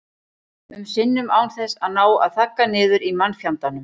um sinnum án þess að ná að þagga niður í mannfjandanum.